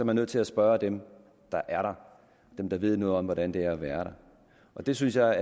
man nødt til at spørge dem der er der dem der ved noget om hvordan det er at være der og det synes jeg